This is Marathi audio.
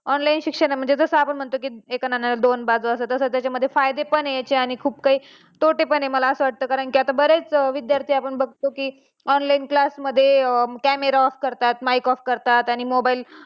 online शिक्षण म्हणजे जस आपण म्हणतो की, एका नाण्याला दोन बाजू असतात तस त्या मध्ये फायदे पण आहेत आणि खूप काही तोटे पण आहेत, मला वाटत की आता बऱ्याच विध्यार्थी आपण बघतो की online class मध्ये camera off करतात mic off करतात आणि mobile